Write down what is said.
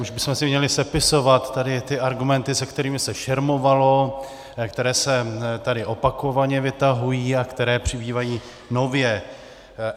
Už bychom si měli sepisovat tady ty argumenty, se kterými se šermovalo, které se tady opakovaně vytahují a které přibývají nově.